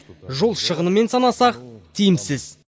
жол шығынымен санасақ тиімсіз